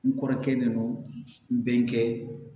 N kɔrɔkɛlen no n bɛn kɛ